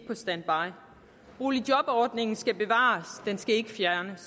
på standby boligjobordningen skal bevares den skal ikke fjernes